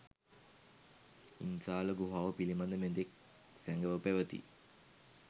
ඉන්සාල ගුහාව පිළිබඳ මෙතෙක් සැඟව පැවති